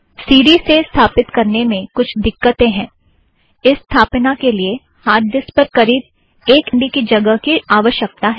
सी D से स्थापिथ्त करने में कुछ दिक्कतें हैं - इस स्थापना के लिए हार्ड डिस्क पर करीब एक एम बी की जगह की आवश्यकता है